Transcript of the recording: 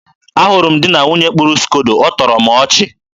a hụrụ m di na nwunye kpụrụ skodo. ọ tọrọ m ọchị.